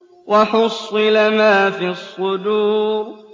وَحُصِّلَ مَا فِي الصُّدُورِ